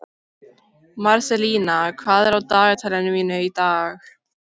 Marselína, hvað er á dagatalinu mínu í dag?